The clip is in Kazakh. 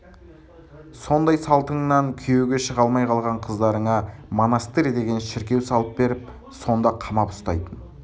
сондай салтыңнан күйеуге шыға алмай қалған қыздарыңа монастырь деген шіркеу салып беріп сонда қамап ұстайтын